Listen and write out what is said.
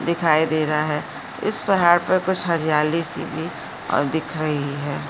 दिखाई दे रहा है इस पहाड़ पर कुछ हरियाली सी भी और दिख रही है।